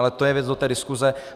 Ale to je věc do té diskuze.